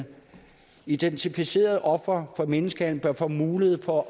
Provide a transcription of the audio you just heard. identificerede ofre for menneskehandel bør få mulighed for